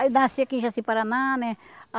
Aí nasci aqui em Jaci-Paraná, né? Ah